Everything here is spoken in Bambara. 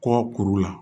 Kɔ kuru la